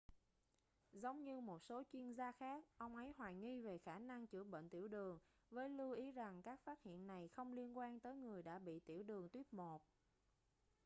giống như một số chuyên gia khác ông ấy hoài nghi về khả năng chữa bệnh tiểu đường với lưu ý rằng các phát hiện này không liên quan tới người đã bị tiểu đường tuýp 1